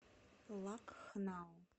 лакхнау